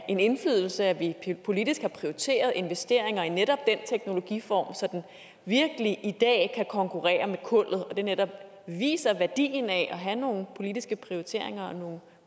en indflydelse at vi politisk har prioriteret investeringer i netop den teknologiform så den i dag virkelig kan konkurrere med kullet og at det netop viser værdien af at have nogle politiske prioriteringer og nogle